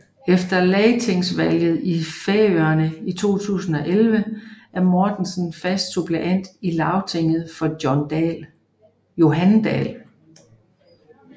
Efter lagtingsvalget i Færøerne 2011 er Mortensen fast suppleant i Lagtinget for Johan Dahl